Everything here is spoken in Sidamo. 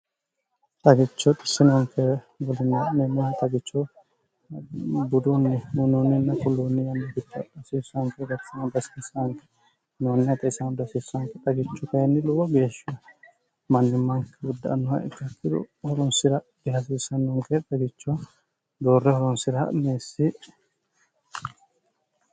xagicho xissinonke bdmmoh xagicho budunni mininna kulluunni yanna gichngin xagichu kayinni luwo geeshshehe mannimmaanki gudda annoha ikkakkiru horunsi'ra girasiissannonke xagicho doorre horunsira ha'neessi